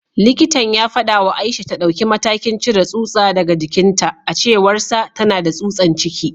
Likitan ya fada wa Aisha ta dauki matakin cire tsutsa daga jikinta; a cewarsa, tana da tsutsan ciki